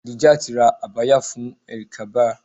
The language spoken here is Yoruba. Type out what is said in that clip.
Adijat ra Abaya fún Eid-el-kabir.